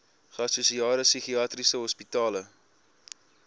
geassosieerde psigiatriese hospitale